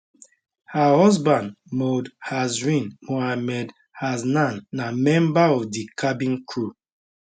her husband mohd hazrin mohamed hasnan na member of di cabin crew